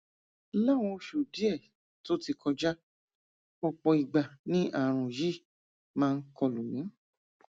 láwọn oṣù díẹ tó ti kọjá ọpọ ìgbà ni ààrùn yìí máa ń kọlù mí